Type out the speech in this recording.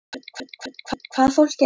Þorbjörn: Hvaða fólk er þetta?